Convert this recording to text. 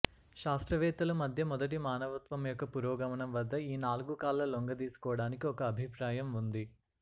శాస్త్రవేత్తలు మధ్య మొదటి మానవత్వం యొక్క పురోగమనం వద్ద ఈ నాలుగు కాళ్ల లొంగదీసుకోవడానికి ఒక అభిప్రాయం ఉంది